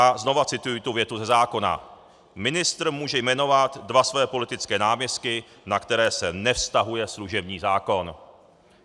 A znova cituji tu větu ze zákona: Ministr může jmenovat dva svoje politické náměstky, na které se nevztahuje služební zákon.